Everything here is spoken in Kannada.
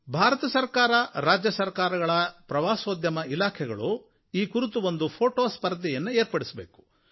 ಭಾರತ ಸರಕಾರ ರಾಜ್ಯ ಸರಕಾರಗಳು ಪ್ರವಾಸೋದ್ಯಮ ಇಲಾಖೆಗಳು ಈ ಕುರಿತು ಒಂದು ಛಾಯಾಚಿತ್ರ ಸ್ಪರ್ಧೆಯನ್ನು ಏರ್ಪಡಿಸಬೇಕು